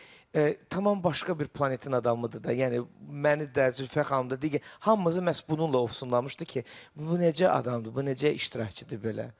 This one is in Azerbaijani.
Tamam başqa bir planetin adamıdır da, yəni məni də, Zülfiyyə xanımı da digər hamımızı məhz bununla ovsunlamışdı ki, bu necə adamdır, bu necə iştirakçıdır belə.